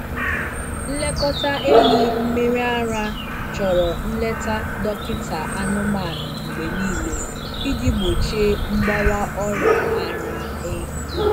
Nlekọta ehi mmiri ara chọrọ nleta dọkịta anụmanụ mgbe niile iji gbochie mgbawa ọrịa ara ehi.